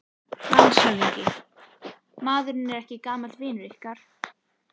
LANDSHÖFÐINGI: Maðurinn er ekki gamall vinur yðar?